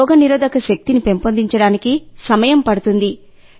రోగనిరోధక శక్తిని పెంపొందించడానికి సమయం పడుతుంది